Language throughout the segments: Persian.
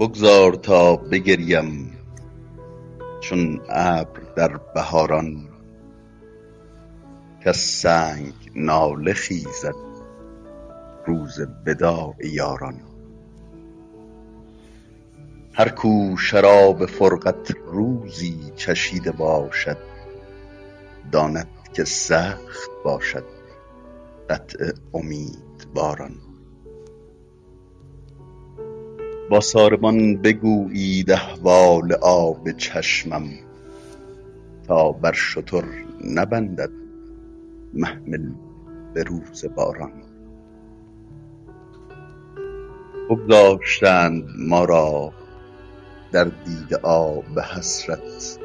بگذار تا بگرییم چون ابر در بهاران کز سنگ گریه خیزد روز وداع یاران هر کو شراب فرقت روزی چشیده باشد داند که سخت باشد قطع امیدواران با ساربان بگویید احوال آب چشمم تا بر شتر نبندد محمل به روز باران بگذاشتند ما را در دیده آب حسرت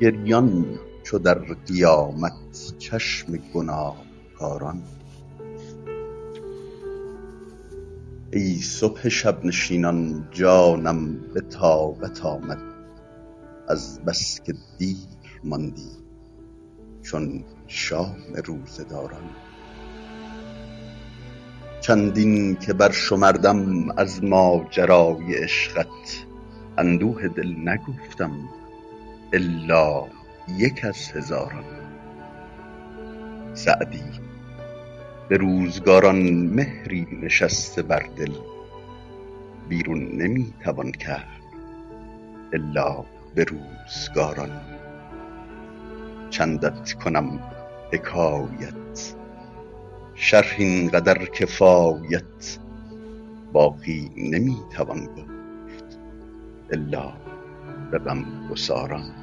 گریان چو در قیامت چشم گناهکاران ای صبح شب نشینان جانم به طاقت آمد از بس که دیر ماندی چون شام روزه داران چندین که برشمردم از ماجرای عشقت اندوه دل نگفتم الا یک از هزاران سعدی به روزگاران مهری نشسته در دل بیرون نمی توان کرد الا به روزگاران چندت کنم حکایت شرح این قدر کفایت باقی نمی توان گفت الا به غمگساران